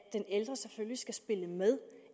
ældre selvfølgelig skal spille med